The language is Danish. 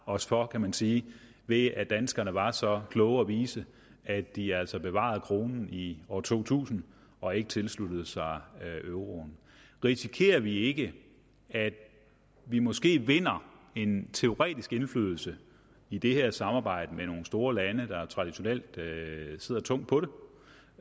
os for kan man sige ved at danskerne var så kloge og vise at de altså bevarede kronen i år to tusind og ikke tilsluttede sig euroen risikerer vi ikke at vi måske vinder en teoretisk indflydelse i det her samarbejde med nogle store lande der traditionelt sidder tungt på